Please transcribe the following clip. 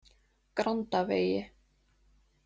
Grandavegi